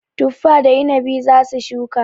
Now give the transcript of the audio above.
Tuffa da inabi za su shuka.